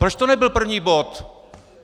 Proč to nebyl první bod?